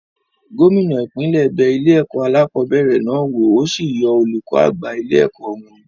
Gómìnà ipinle bẹ ilé-ẹ̀kọ́ alákọ̀ọ́bẹ̀rẹ̀ náà wò, ó sì yọ olùkọ́ àgbà ilé-ẹ̀kọ́ wọn.